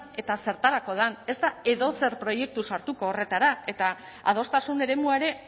eta zertarako den ez da edozer proiektu sartuko horretara eta adostasun eremua ere